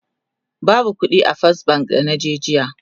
babu ƙuɗi a fes bank da naje jiya